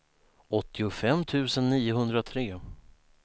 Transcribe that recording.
åttiofem tusen niohundratre